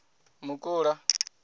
mukula